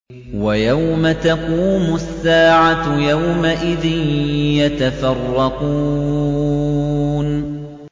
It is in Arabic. وَيَوْمَ تَقُومُ السَّاعَةُ يَوْمَئِذٍ يَتَفَرَّقُونَ